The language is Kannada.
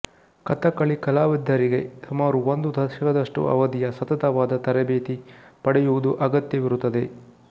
ಕಥಕ್ಕಳಿ ಕಲಾವಿದರಿಗೆ ಸುಮಾರು ಒಂದು ದಶಕದಷ್ಟು ಅವಧಿಯ ಸತತವಾದ ತರಬೇತಿ ಪಡೆಯುವುದು ಅಗತ್ಯವಿರುತ್ತದೆ